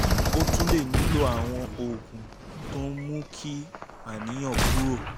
o tún lè nílò àwọn oògùn tó ń mú kí àníyàn kúrò